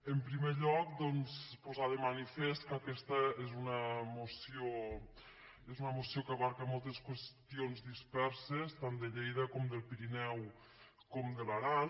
en primer lloc doncs posar de manifest que aquesta és una moció que abasta mol·tes qüestions disperses tant de lleida com del piri·neu com de l’aran